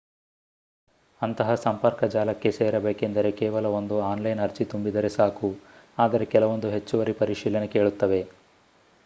ಅಂತಹ ಸಂಪರ್ಕ ಜಾಲಕ್ಕೆ ಸೇರಬೇಕೆಂದರೆ ಕೇವಲ ಒಂದು ಆನ್ಲೈನ್ ಅರ್ಜಿ ತುಂಬಿದರೆ ಸಾಕು ಆದರೆ ಕೆಲವೊಂದು ಹೆಚ್ಚುವರಿ ಪರಿಶೀಲನೆ ಕೇಳುತ್ತವೆ